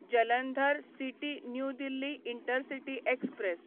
Jalandhar city new Delhi intercity express